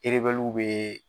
Erebɛliw bee